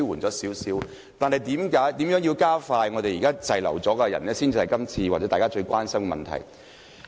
但是，如何加快處理現時滯留在港的人士，應是大家今天最關心的問題。